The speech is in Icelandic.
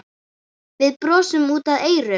Við brosum út að eyrum.